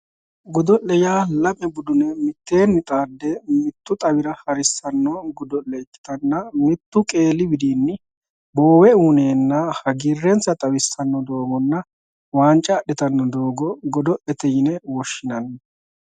Godo'le yaa lame budune mitteenni xaadde mitu xawira harisano godo'leti ikkittanna mitu qeeli widinni boowe uyinenna hagiirrensa xawisano doogonna wanca adhittano doogo godo'lete yinne woshshinanni.